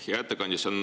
Hea ettekandja!